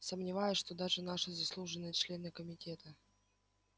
сомневаюсь что даже наши заслуженные члены комитета